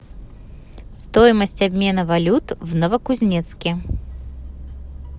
стоимость обмена валют в новокузнецке